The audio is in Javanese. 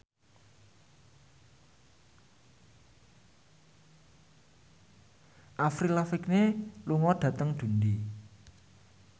Avril Lavigne lunga dhateng Dundee